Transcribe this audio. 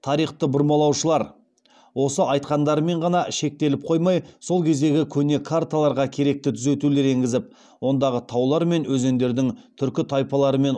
тарихты бұрмалаушылар осы айтқандарымен ғана шектеліп қоймай сол кездегі көне карталарға керекті түзетулер еңгізіп ондағы таулар мен өзендердің түркі тайпалары мен